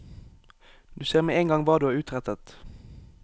Du ser med en gang hva du har utrettet.